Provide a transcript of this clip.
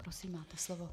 Prosím, máte slovo.